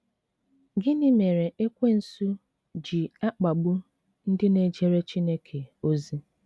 Gịnị mereEkwensu ji akpagbu ndị na ejere Chineke ozi?